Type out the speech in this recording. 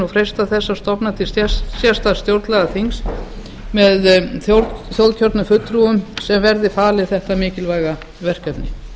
freista þess að stofna til sérstaks stjórnlagaþings með þjóðkjörnum fulltrúum sem verði falið þetta mikilvæga verkefni